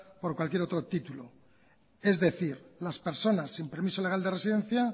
por cualquier otro título es decir las personas sin permiso legal de residencia